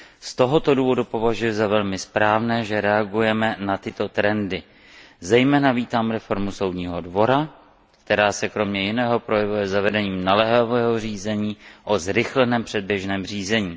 Z tohoto důvodu považuji za velmi správné, že reagujeme na tyto trendy. Zejména vítám reformu Soudního dvora, která se kromě jiného projevuje zavedením naléhavého řízení o zrychleném předběžném řízení.